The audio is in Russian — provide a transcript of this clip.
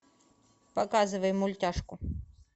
показывай мультяшку